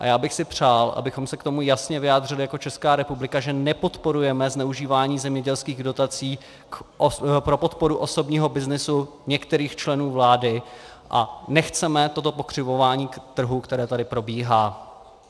A já bych si přál, abychom se k tomu jasně vyjádřili jako Česká republika, že nepodporujeme zneužívání zemědělských dotací pro podporu osobního byznysu některých členů vlády a nechceme toto pokřivování trhu, které tady probíhá.